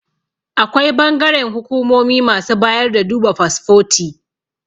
Akwai bangaren hukumomi masu bayar da duba fasfoti